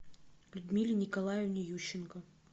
людмиле николаевне ющенко